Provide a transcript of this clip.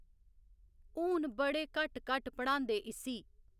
हून बड़े घट्ट घट्ट पढ़ांदे इस्सी